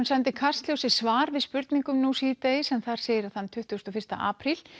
sendi Kastljósi svar við spurningum nú síðdegis en þar segir að þann tuttugasta og fyrsta apríl